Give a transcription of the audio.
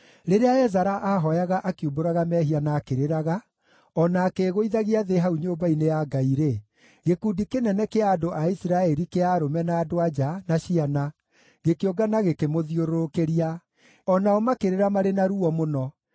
Rĩrĩa Ezara aahooyaga akiumbũraga mehia na akĩrĩraga, o na akĩĩgũithagia thĩ hau nyũmba-inĩ ya Ngai-rĩ, gĩkundi kĩnene kĩa andũ a Isiraeli, kĩa arũme, na andũ-a-nja, na ciana, gĩkĩũngana gĩkĩmũthiũrũrũkĩria. O nao makĩrĩra marĩ na ruo mũno.